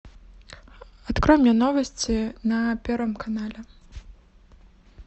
открой мне новости на первом канале